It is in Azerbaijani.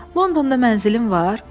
Londonda mənzilin var?